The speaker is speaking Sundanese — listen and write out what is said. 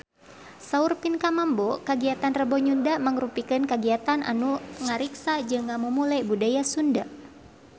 Saur Pinkan Mambo kagiatan Rebo Nyunda mangrupikeun kagiatan anu ngariksa jeung ngamumule budaya Sunda